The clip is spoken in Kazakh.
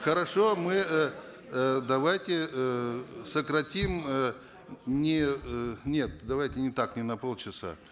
хорошо мы эээ давайте эээ сократим э не э нет давайте не так не на полчаса